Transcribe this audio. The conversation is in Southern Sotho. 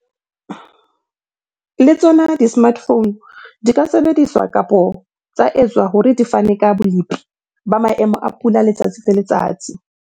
Le tsona di-smart phone di ka sebediswa kapa tsa etswa hore di fane ka bolepi ba maemo a pula letsatsi le letsatsi.